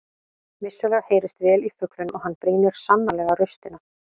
Vissulega heyrist vel í fuglinum og hann brýnir sannarlega raustina.